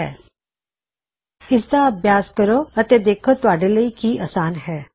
ਇਸਦੀ ਕੋਸ਼ਿਸ਼ ਕਰੋ ਇਸਦੇ ਉਪਰ ਕੰਮ ਕਰੋ ਅਤੇ ਦੇਖੋ ਤੁਹਾਡੇ ਲਈ ਕੀ ਅਸਾਨ ਹੈ